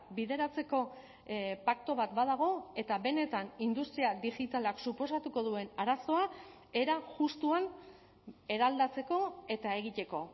bideratzeko paktu bat badago eta benetan industria digitalak suposatuko duen arazoa era justuan eraldatzeko eta egiteko